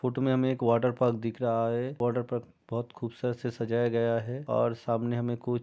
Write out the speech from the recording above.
photo में हमे एक वाटर पार्क दिख रहा है वाटर पार्क बहुत खूबसूरत से सजाया गया है और सामने हमे कुछ --